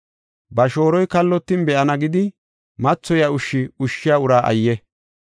“Ba shooroy kallotin be7ana gidi, mathoyiya ushshi ushshiya uraa ayye!